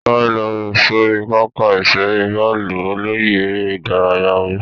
Sáré lọ sórí pápá ìṣeré bọ́ọ̀lù. Olóyè eré ìdárayá wí.